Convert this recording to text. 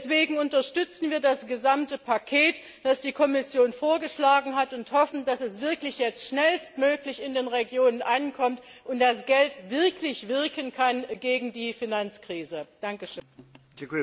Deswegen unterstützen wir das gesamte Paket, das die Kommission vorgeschlagen hat, und hoffen, dass es jetzt wirklich schnellstmöglich in den Regionen ankommt und das Geld wirklich zur Bekämpfung der Finanzkrise wirken kann.